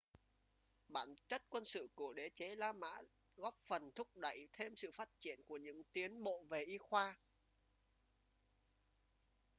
bản chất quân sự của đế chế la mã góp phần thúc đẩy thêm sự phát triển của những tiến bộ về y khoa